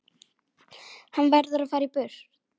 Hann verður að fara burt.